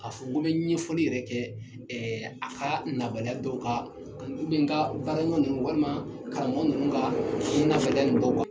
A fɔ n ko mi ɲɛfɔli yɛrɛ kɛ a ka nabaliya dɔw ka min ka baara ɲɔn walima karamɔgɔ ninnu ka